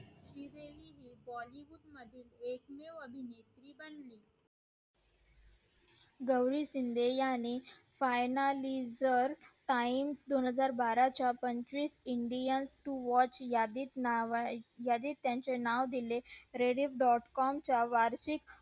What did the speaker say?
Gauri Shinde finalizer time दोन हजार बारा च्या पंचवीस indian watch यादी त नाव हाय यादी त त्याचे नाव दिले प्रेरित dot com